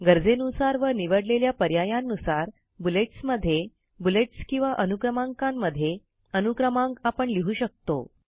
गरजेनुसार व निवडलेल्या पर्यायांनुसार बुलेट्स मध्ये बुलेट्स किंवा अनुक्रमांकांमध्ये अनुक्रमांक आपण लिहू शकतो